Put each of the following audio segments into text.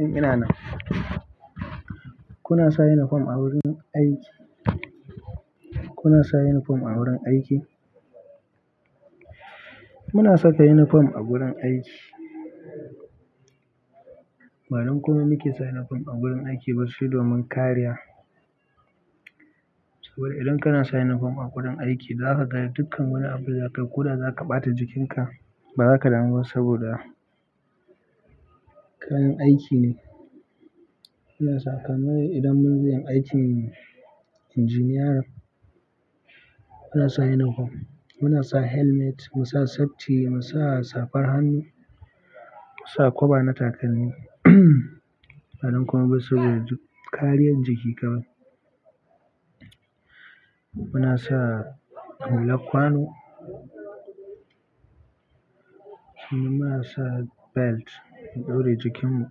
Eh ina nan. Kuna sa uniform a wurin aiki? Kuna sa uniform a wurin aiki? Muna saka uniform a wurin aiki. Ba don komi muke sa uniform ba sai don kariya idan kana sa uniform wurin aiki zakaga dukkan wani abu d zakayi koda zaka bata jikinka bazaka damu ba saboda wurin aiki ne muna saka, kamar idan muna yin aikin engineer muna sa uniform, muna sa helmet, mu sa safety, mu sa safar hannu, mu sa kwaɓa na takalmi. Ba don komi ba sai domin kariya jiki kawai. Muna sa hularkwano, sannan muna sa belt mu ɗore jikinmu.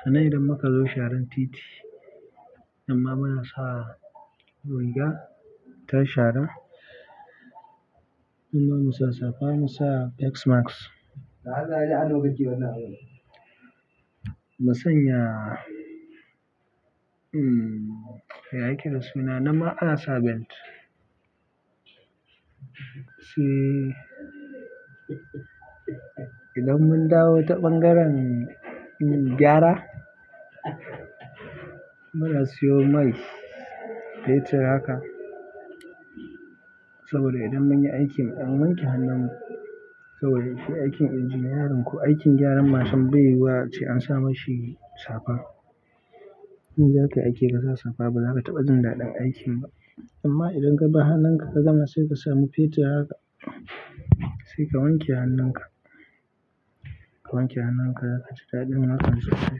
Sannan idan muka zo sharan titi, nan ma muna sa riga ta sharan. Nan ma mu sa safa, mu sa face mask. Ba sanya, mm, ya yake da suna, nan ma ana sa belt. Idan mun dawo ta ɓangaren gyara muna siyo mai fetur haka saboda idan mun yi aikin, mu ɗan wanke hannun mu saboda aikin engineerin ko aikin gyaran mashin bai yi ba ce an sa mashi safa. In zakayi aiki bakasa safa ba, baza ka taɓa jin daɗin aiki ba amma idan ka gar hannun ka ka gama sai ka samu fetur haka sai ka wanke hannun ka, ka wanke hannun ka, ka ji daɗin harkan safety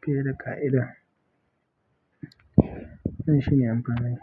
fiye da ƙa'ida. Wannan shi ne amfanin.